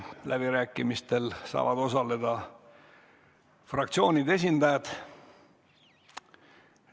Läbirääkimistel saavad osaleda fraktsioonide esindajad.